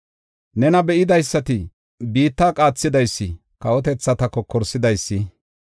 Nena be7idaysati, “Biitta qaathidaysi, kawotethata kokorsidaysi,